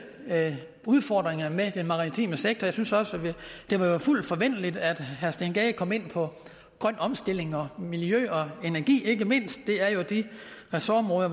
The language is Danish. udfordringerne i den maritime sektor det var jo fuldt forventeligt at herre steen gade kom ind på grøn omstilling og miljø og energi ikke mindst det er jo de ressortområder